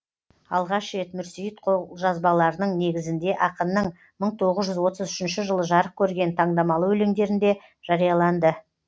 алғаш рет мүрсейіт қолжазбаларының негізіңде ақынның мың тоғыз жүз отыз үшінші жылы жарық көрген тандамалы өлеңдерінде жарияланды